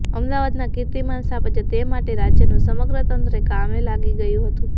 અમદાવાદના કિર્તીમાન સ્થપાય તે માટે રાજ્યનું સમગ્ર તંત્ર કામે લાગી ગયું હતું